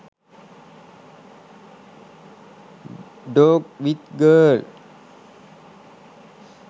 dog with girl